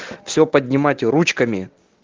все поднимать ручками